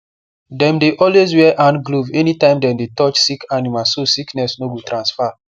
dem dey always wear hand glove anytime dem dey touch sick animal so sickness no go transfer